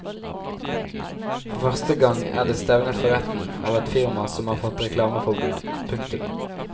For første gang er det stevnet for retten av et firma som har fått reklameforbud. punktum